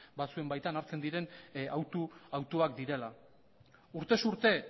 batzuen baitan hartzen diren hautuak direla urtez urte